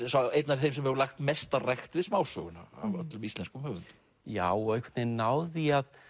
einn af þeim sem hefur lagt mesta rækt við smásöguna af öllum íslenskum höfundum já og einhvern veginn náð því